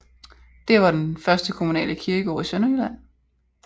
Det var den første kommunale kirkegård i Sønderjylland